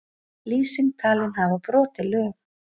Lýsing talin hafa brotið lög